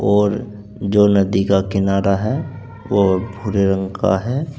और जो नदी का किनारा है वो भूरे रंग का है।